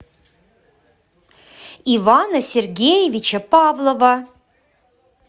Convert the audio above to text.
ивана сергеевича павлова